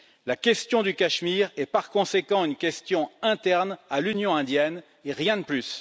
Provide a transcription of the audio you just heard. La question du Cachemire est par conséquent une question interne à l'Union indienne et rien de plus.